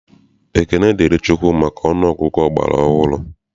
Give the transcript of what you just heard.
Ekene dịrị Chukwu maka ọnụ ọgụgụ ọgbara ọhụrụ.